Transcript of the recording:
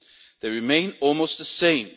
They remain almost the same.